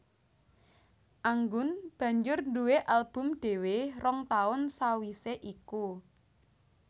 Anggun banjur nduwé album dhéwé rong taun sawisé iku